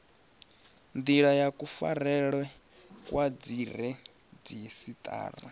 ndila ya kufarelwe kwa dziredzhisiṱara